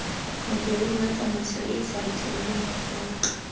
modiredi wa tsamaisoeesa letleleleng motlola